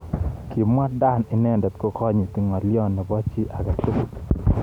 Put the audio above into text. Kimwa Dan inendet kokonyiti ngalyo nebo chi age tugul.